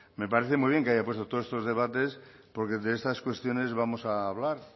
me parece muy bien que haya puesto todos estos debates porque de estas cuestiones vamos a hablar